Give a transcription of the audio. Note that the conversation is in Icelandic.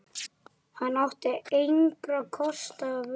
Hann átti engra kosta völ.